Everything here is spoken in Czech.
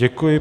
Děkuji.